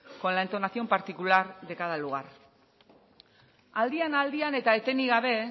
con la entonación particular de cada lugar aldian aldian eta etenik gabe